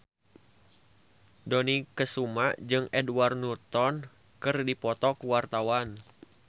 Dony Kesuma jeung Edward Norton keur dipoto ku wartawan